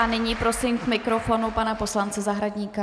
A nyní prosím k mikrofonu pana poslance Zahradníka.